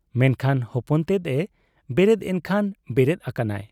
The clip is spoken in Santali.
ᱢᱮᱱᱠᱷᱟᱱ ᱦᱚᱯᱚᱱ ᱛᱮᱫ ᱮ ᱵᱮᱨᱮᱫ ᱮᱱᱠᱷᱟᱱ ᱵᱮᱨᱮᱫ ᱟᱠᱟᱱᱟᱭ ᱾